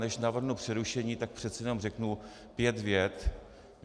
Než navrhnu přerušení, tak přece jen řeknu pět vět.